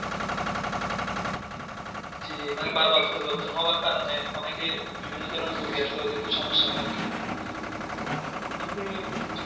জি মানে বার বার পরিবর্তনের হওয়ার কারণে অনেকে বিভিন্ন ধরণের রুগী আছে ওদেরকে সমস্যা হয় আরকি